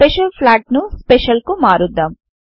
special flag ను special కు మారుద్దాం